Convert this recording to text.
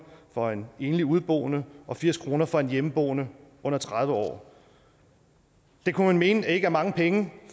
for en enlig udeboende og firs kroner for en hjemmeboende under tredive år det kunne man mene ikke er mange penge